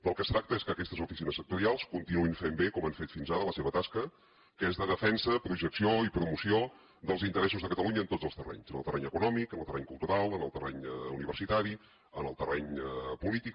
del que es tracta és que aquestes oficines sectorials continuïn fent bé com han fet fins ara la seva tasca que és de defensa projecció i promoció dels interessos de catalunya en tots els terrenys en el terreny econòmic en el terreny cultural en el terreny universitari en el terreny polític